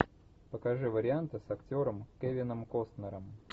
покажи варианты с актером кевином костнером